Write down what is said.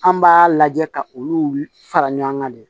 An b'a lajɛ ka olu fara ɲɔgɔn kan de